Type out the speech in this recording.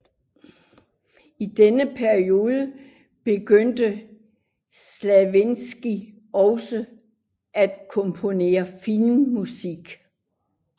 I denne periode begyndte Stravinskij også at komponere filmmusik